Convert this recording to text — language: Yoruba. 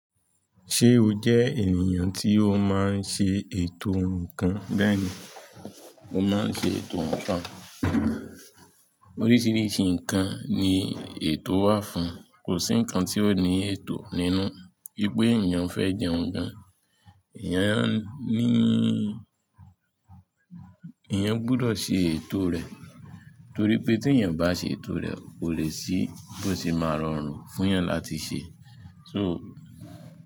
Ṣé o jẹ́ ènìyàn tí ó máa ń ṣe ètò nǹkan? Bẹ́ẹ̀ni, mo máa ń ṣe ètò nǹkan. Oríṣiríṣi nǹkan ni ètò wà fún, kò sí nǹkan tí ò ní ètò nínú. Bí pé ènìyàn fẹ́ jẹun gan, ènìyàn níí, èeyan gbọdọ̀ ṣe ètò rẹ̀ torí pé tí èeyan o bá ṣe ètò rẹ̀ kò lè ṣí bo se máa rọrùn fún èeyan láti ṣe. So.